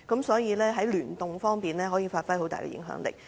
所以，在聯動方面，可以發揮很大的影響力。